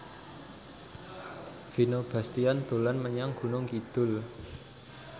Vino Bastian dolan menyang Gunung Kidul